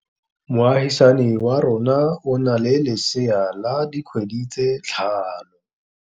Moagisane wa rona o na le lesea la dikgwedi tse tlhano.